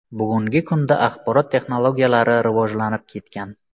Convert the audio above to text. Bugungi kunda axborot texnologiyalari rivojlanib ketgan.